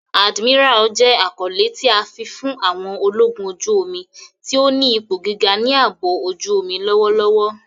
Admiral jẹ akọle ti a fi fun àwọn ologun oju-omi ti o ni ipo giga ni aabo ojuomi lọwọlọwọ.